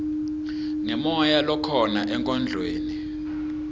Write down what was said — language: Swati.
ngemoya lokhona enkondlweni